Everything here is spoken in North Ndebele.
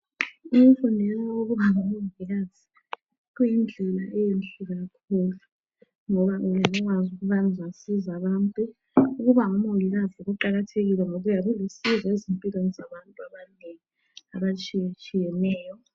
Ukufundela ukuba ngumongikazi kuyindlela enhle kakhulu ngoba uyabe usazi ukuba uzasiza abantu ukuba ngumongikazi kuqakathekile ngoba uyabe ulusizo empilweni zabantu abanengi abatshiyeneyo tshiyeneyo.